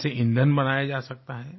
इसे ईंधन बनाया जा सकता है